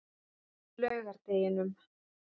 laugardeginum